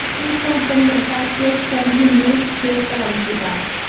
उस स्वतंत्रता के स्वर्ग में हे परमपिता